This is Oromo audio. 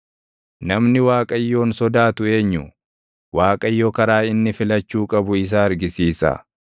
Namni Waaqayyoon sodaatu eenyu? Waaqayyo karaa inni filachuu qabu isa argisiisa.